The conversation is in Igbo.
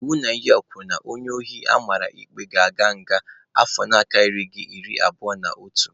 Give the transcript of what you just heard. Iwu Naijiria kwuru na onye ohi amara ikpe ga-aga nga afọ na-akarịghị iri abụo n'otu.